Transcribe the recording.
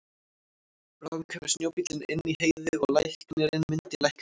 Bráðum kæmi snjóbíllinn inn í Heiði og læknirinn myndi lækna hann.